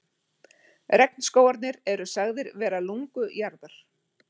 Regnskógarnir eru sagðir vera lungu jarðar.